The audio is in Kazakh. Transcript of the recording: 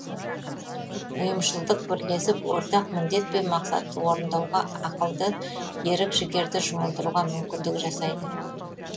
ұйымшылдық бірлесіп ортақ міндет пен мақсатты орындауға ақылды ерік жігерді жұмылдыруға мүмкіндік жасайды